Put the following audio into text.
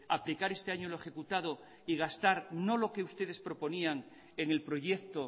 aplicar este año lo ejecutado y gastar no lo que ustedes proponían en el proyecto